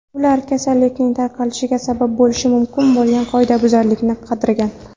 Ular kasallikning tarqalishiga sabab bo‘lishi mumkin bo‘lgan qoidabuzarliklarni qidirgan.